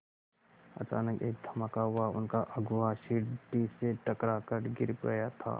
अचानक एक धमाका हुआ उनका अगुआ सीढ़ी से टकरा कर गिर गया था